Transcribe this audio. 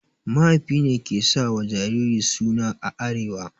Mahaifi ne ke sa wa jariri suna a arewa.